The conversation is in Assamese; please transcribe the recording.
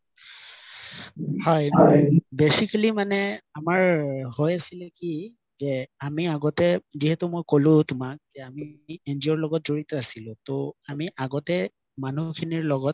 হয় basically মানে আমাৰ হৈ আছিলে কি যে আমি আগতে যিহেতু মই কলো তুমাক যে আমি NGO ৰ লগত জৰিত আছিলো ত আমি আগতে মানুহ খিনিৰ লগত